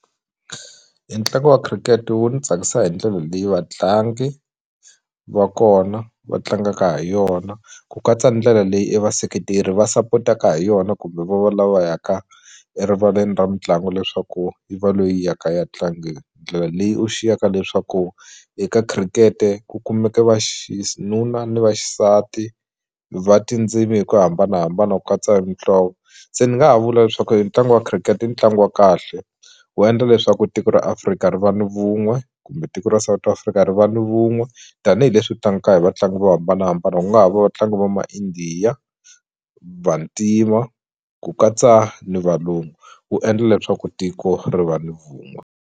E ntlangu wa khirikete wu ni tsakisa hi ndlela leyi vatlangi va kona va tlangaka ha yona ku katsa ndlela leyi e vaseketeri va sapotaka ha yona kumbe va va lava yaka erivaleni ra mitlangu leswaku yi va leyi yaka ya ndlela leyi u xiyaka leswaku eka khirikete ku kumeka va nuna ni vaxisati va tindzimi hi ku hambanahambana ku katsa e mihlovo se ni nga ha vula leswaku e ntlangu wa khirikete i ntlangu wa kahle wu endla leswaku tiko ra Afrika ri va ni vun'we kumbe tiko ra South Africa ri va ni vun'we tanihileswi hi vatlangi vo hambanahambana ku nga ha va vatlangi va ma India Vantima ku katsa ni valungu wu endla leswaku tiko ri va ni vun'we.